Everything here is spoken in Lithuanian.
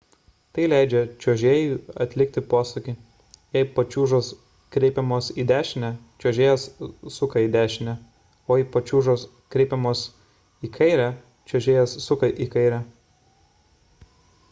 tai leidžia čiuožėjui atlikti posūkį jei pačiūžos pakreipiamos į dešinę čiuožėjas suka į dešinę o jei pačiūžos pakreipiamos į kairę čiuožėjas suka į kairę